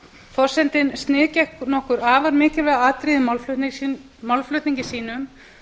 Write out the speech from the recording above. forsetinn sniðgekk nokkur afar mikilvæg atriði í málflutningi sínum